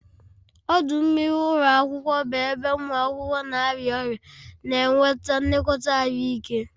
Ọdụ mmiri ụlọ akwụkwọ bụ ebe ụmụ akwụkwọ na-arịa ọrịa na-enweta nlekọta ahụike.